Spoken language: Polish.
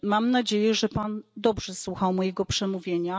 Mam nadzieję, że Pan dobrze słuchał mojego przemówienia.